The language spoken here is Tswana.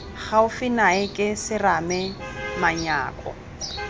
gaufi nae ke serame manyako